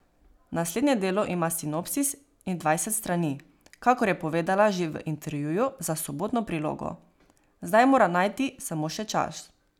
Naslednje delo ima sinopsis in dvajset strani, kakor je povedala že v intervjuju za Sobotno prilogo, zdaj mora najti samo še čas.